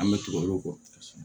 An bɛ tugu olu kɔ